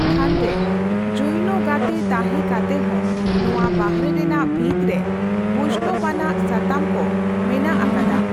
ᱛᱷᱟᱱ ᱨᱮ ᱡᱳᱭᱱᱚ ᱜᱟᱛᱮ ᱛᱟᱸᱦᱮ ᱠᱟᱛᱮᱦᱚᱸ, ᱱᱚᱣᱟ ᱵᱟᱨᱦᱮ ᱨᱮᱱᱟᱜ ᱵᱷᱤᱛ ᱨᱮ ᱵᱚᱸᱭᱥᱱᱚᱵᱽ ᱟᱱᱟᱜ ᱥᱟᱛᱟᱢᱠᱚ ᱢᱮᱱᱟᱜ ᱟᱠᱟᱫᱟ ᱾